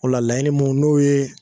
O la laɲini mun n'o yee